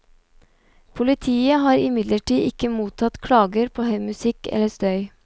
Politiet har imidlertid ikke mottatt klager på høy musikk eller støy.